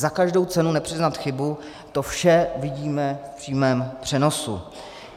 Za každou cenu nepřiznat chybu, to vše vidíme v přímém přenosu.